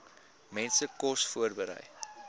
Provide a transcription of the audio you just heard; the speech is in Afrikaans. mense kos voorberei